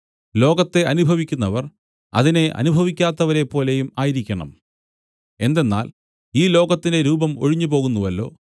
ലോകത്തെ അനുഭവിക്കുന്നവർ അതിനെ അനുഭവിക്കാത്തവരെപ്പോലെയും ആയിരിക്കണം എന്തെന്നാൽ ഈ ലോകത്തിന്റെ രൂപം ഒഴിഞ്ഞുപോകുന്നുവല്ലോ